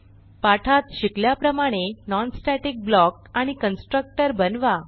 पाठात शिकल्याप्रमाणे non static block आणि कन्स्ट्रक्टर बनवा